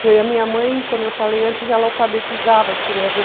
Porque a minha mãe, como eu falei antes, ela alfabetizava as crianças.